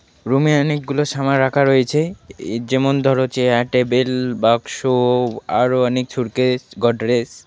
রুমে অনেকগুলো সামান রাখা রয়েছে ই যেমন ধরো চেয়ার টেবিল বাক্স আরো অনেক সুটকেস গোদরেজ.